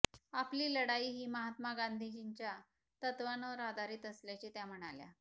आपली लढाई ही महात्मा गांधींजींच्या तत्त्वांवर आधारित असल्याचे त्या म्हणाल्या